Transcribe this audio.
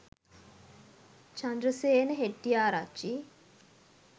chandrasena hettiarachchi